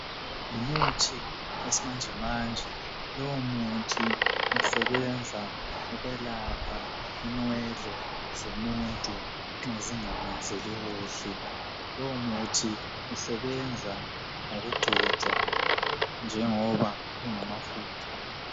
Ngumuthi wesimanjemanje lowu muthi usebenza ukwelapha inwele zomuntu nxa zingamenzeli kuhle lowu muthi usebenza ngokugcotshwa njengoba ungamafutha.